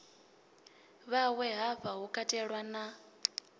vhawe hafha hu katelwa na